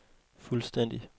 fuldstændig